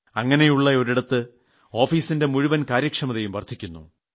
അങ്ങനെയുളള ഇടത്ത് ഓഫീസിന്റെ മുഴുവൻ കാര്യക്ഷമതയും വർദ്ധിക്കുന്നു